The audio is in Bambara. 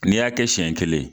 N'i y'a kɛ siɲɛ kelen